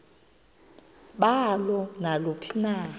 balo naluphi na